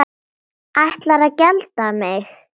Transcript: Ætlarðu að gelda mig?